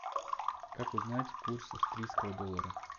как узнать курс австрийского доллара